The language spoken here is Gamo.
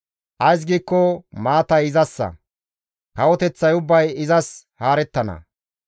Ays giikko maatay izassa; kawoteththay ubbay izas haarettana.